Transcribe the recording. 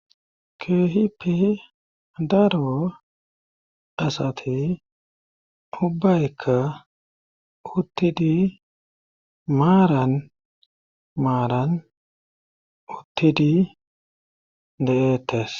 Keehipi daro asati ubbaykka uttidi maaran maaran uttidi deettes.